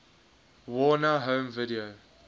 warner home video